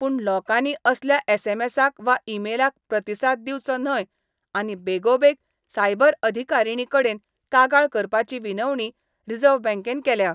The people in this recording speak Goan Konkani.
पूण लोकांनी असल्या एसएमसाक वा इमेलाक प्रतिसाद दिवचो न्हय आनी बेगोबेग सायबर अधिकारिणी कडेन कागाळ करपाची विनवणी रिझर्व्ह बँकेन केल्या.